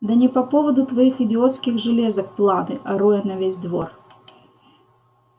да не по поводу твоих идиотских железок планы ору я на весь двор